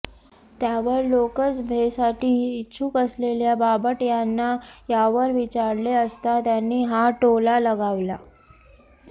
त्यावर लोकसभेसाठी इच्छुक असलेल्या बापट यांना यावर विचारले असता त्यांनी हा टोला लगावला